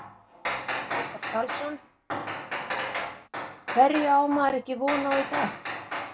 Óttar Karlsson: Hverju á maður ekki von á í dag?